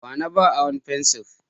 Wa na ba aron fensiri?